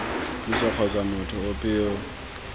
puso kgotsa motho ope yo